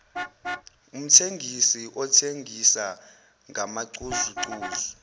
umthengisi othengisa ngamacozucozu